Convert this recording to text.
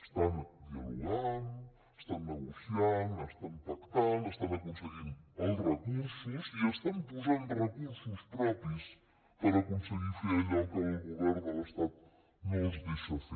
estan dialogant estan negociant estan pactant estan aconseguint els recursos i estan posant recursos propis per aconseguir fer allò que el govern de l’estat no els deixa fer